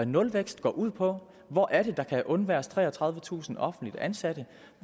nulvækst ud på hvor er det der kan undværes treogtredivetusind offentligt ansatte